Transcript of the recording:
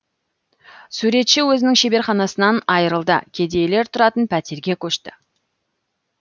суретші өзінің шеберханасынан айырылды кедейлер тұратын пәтерге көшті